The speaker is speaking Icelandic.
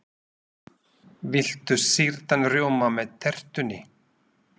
Viltu sýrðan rjóma með tertunni?